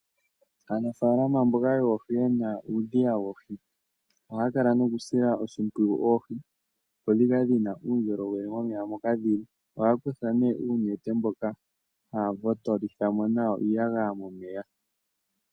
Aanafalama mboka yoohi, yena uudhiya woohi, ohaya kala nokusila oshimpwiyu oohi, opo dhikale dhina uundjolowele momeya moka dhili. Ohaya kutha nee uunete mboka haya votolitha mo iiyagaya momeya.